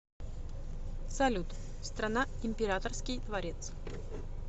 салют страна императорский дворец